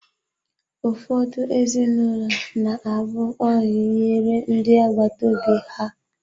Ụfọdụ ezinụlọ na-abụ oyi nyere ndị agbata obi ha.